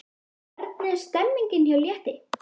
Hvernig er stemningin hjá Létti?